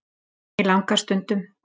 Mig langar stundum.